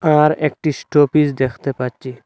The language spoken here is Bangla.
আর একটি স্টপিজ দেখতে পাচ্ছি।